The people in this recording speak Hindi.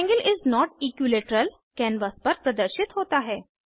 triangle is not equilateral canvas पर प्रदर्शित होता है